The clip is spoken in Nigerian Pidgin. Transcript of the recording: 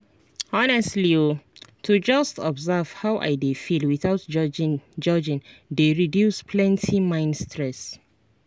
honestly o to just observe how i dey feel without judging dey reduce plenty mind stress.